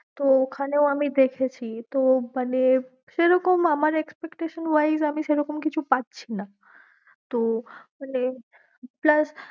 তো ঐখানেও আমি দেখেছি, তো মানে সেরকম আমার expectation wise আমি সেরকম কিছু পাচ্ছি না তো মানে plus